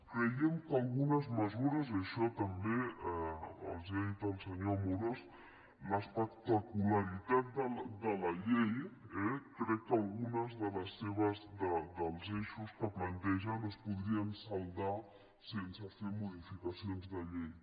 creiem que algunes mesures i això també els ho ha dit el senyor amorós l’espectacularitat de la llei eh crec que alguns dels eixos que plantegen es podrien saldar sense fer modificacions de llei